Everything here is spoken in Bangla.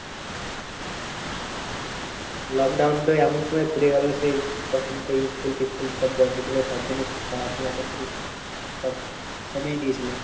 Lockdown তো এমন সময় পরে গেলো সেই তখন তো school ফিসকুল সব বন্ধ ছিল তার জন্য পড়াশোনা টা খালি সব কমিয়ে দিয়েছিলো।